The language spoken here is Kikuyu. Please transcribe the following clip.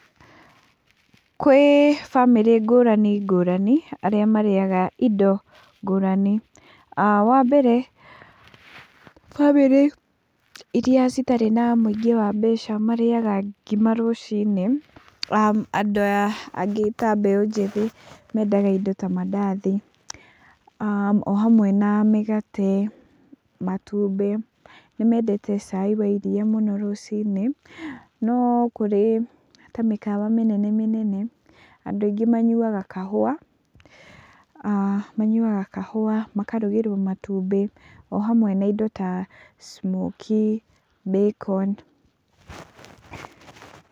Kwĩ bamĩrĩ ngũrani ngũrani arĩa marĩaga indo ngũrani. Wambere, bamĩrĩ iria citarĩ na mũingĩ wa mbeca marĩaga ngima rũrciinĩ. Andũ angĩ ta mbeu njĩthĩ mendaga indo ta mandathi o hamwe na mĩgate, matũmbĩ, nĩ mendete cai wa iria mũno rũci-inĩ. No kũrĩ ta mĩkawa mĩnene mĩnene, andũ aingĩ manyuaga kahũa, manyuaga kahũa, makarugĩrwo matumbĩ o hamwe na indo ta smokie, bacon...